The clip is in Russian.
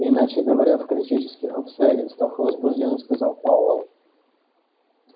иначе говоря в критических обстоятельствах возбуждённо сказал пауэлл